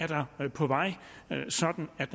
der er på vej sådan at